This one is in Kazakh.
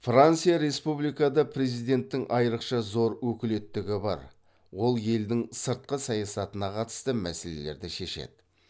франция республикада президенттің айрықша зор өкілеттілігі бар ол елдің сыртқы саясатына қатысты мәселерді шешеді